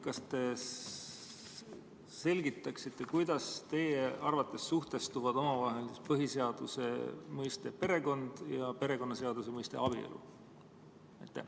Kas te selgitaksite, kuidas teie arvates suhestuvad omavahel põhiseaduse mõiste "perekond" ja perekonnaseaduse mõiste "abielu"?